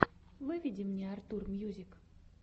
выведи мне артур мьюзик